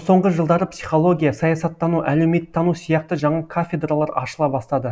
соңғы жылдары психология саясаттану әлеуметтану сияқты жаңа кафедралар ашыла бастады